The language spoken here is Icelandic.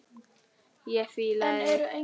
Ég fílaði þig.